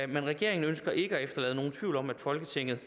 men regeringen ønsker ikke at efterlade nogen tvivl om at folketinget